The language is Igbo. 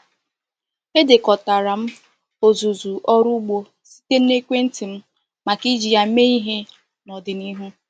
Edekọtara m ọzụzụ ọrụ ugbo site na ekwentị m maka iji ya mee ihe n’ọdịnihu.